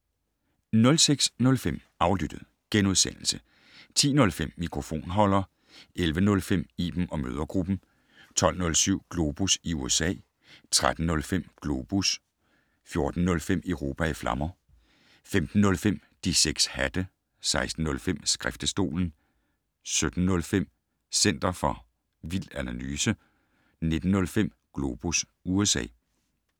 06:05: Aflyttet * 10:05: Mikrofonholder 11:05: Iben & mødregruppen 12:07: Globus i USA 13:05: Globus 14:05: Europa i flammer 15:05: De 6 hatte 16:05: Skriftestolen 17:05: Center for vild analyse 19:05: Globus USA